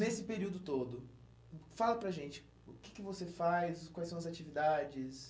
Nesse período todo, fala para a gente, o que que você faz, quais são as atividades?